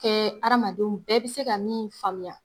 Hamadenw bɛɛ bɛ se ka min faamuya